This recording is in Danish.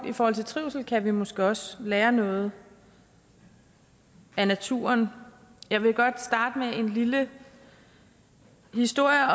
i forhold til trivsel kan vi måske også lære noget af naturen jeg vil godt starte med en lille historie